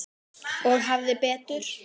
Og hafði betur.